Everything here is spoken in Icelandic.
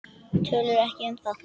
Töluðu ekki um það.